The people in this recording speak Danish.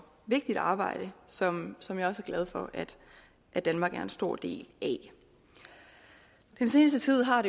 vigtigt arbejde som som jeg også er glad for at danmark er en stor del af den seneste tid har